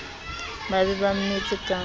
ba be ba mmetse ka